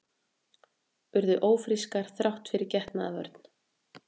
Urðu ófrískar þrátt fyrir getnaðarvörn